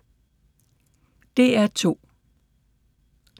DR2